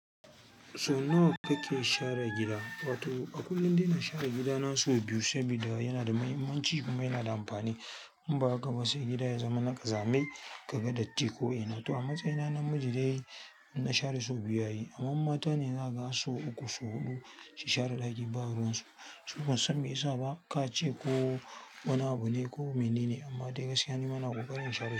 So nawa kake share gida? Wato a kullum dai ina share gidana sau biyu saboda yana da muhimmanci kuma yana da amfani. In ba haka ba sai gida ya zama na kazamai ka ga datti ko ina. To a matsayina na miji dai ina share sau biyu ayi amma in mata ne za ka ga har sau uku, sau huɗu su share ɗakin baronsu. Su ban sam me isa ba ka ce ko wani abu ne ko mene ne amma dai gaskiya ne ma ina ƙoƙarin share gida.